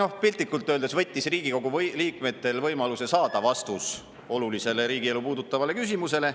Noh, piltlikult öeldes võttis ta Riigikogu liikmetelt võimaluse saada vastus olulisele riigielu puudutavale küsimusele.